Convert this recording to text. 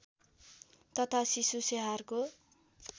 तथा शिशु स्याहारको